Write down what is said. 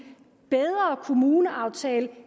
bedre kommuneaftale